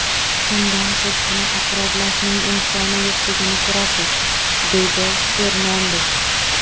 Shundan siz buni takrorlashning imkoni yo‘qligini ko‘rasiz”, deydi Fernandes.